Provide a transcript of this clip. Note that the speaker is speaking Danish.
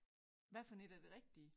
Hvad for et er det rigtige